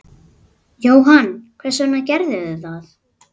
Jóhann: Hvers vegna gerðirðu það?